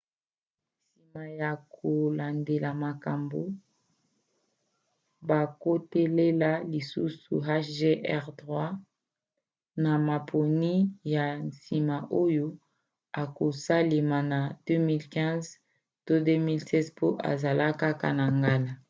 nsima ya kolandela makambo bakotalela lisusu hjr-3 na maponi ya nsima oyo ekosalema na 2015 to 2016 po ezala kaka na ngala